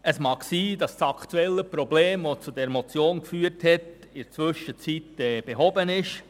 Es mag sein, dass das aktuelle Problem, das zu dieser Motion geführt hat, in der Zwischenzeit behoben wurde.